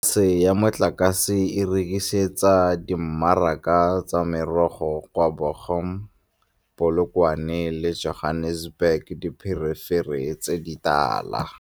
Polase ya Matlakane e rekisetsa dimmaraka tsa merogo kwa Bochum, Polokwane le Johannesburg dipherefere tse di tala.